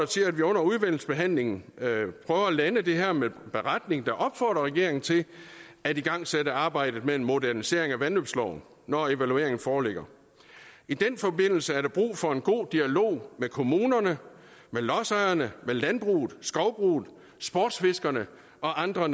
til at vi under udvalgsbehandlingen prøver at lande det her med en beretning der opfordrer regeringen til at igangsætte arbejdet med en modernisering af vandløbsloven når evalueringen foreligger i den forbindelse er der brug for en god dialog med kommunerne med lodsejerne med landbruget skovbruget sportsfiskerne om andre